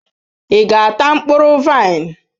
Ị ga-ata mkpụrụ vaịn?